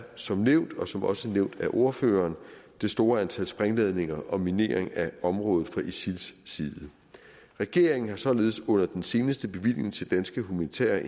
som nævnt og som også er nævnt af ordføreren det store antal sprængladninger og minering af området fra isils side regeringen har således under den seneste bevilling til danske humanitære